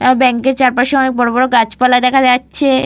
এহ বাক এর চারপাশে অনেক বড় বড় গাছপালা দেখা যাচ্ছে।